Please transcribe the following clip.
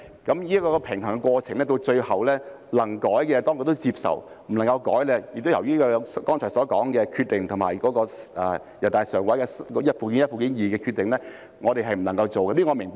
就這個平衡的過程來說，能夠修改的，當局最終也接受，不能修改的也是由於剛才所說的《決定》及人大常委會就附件一及附件二的修訂而不能做，這是我明白的。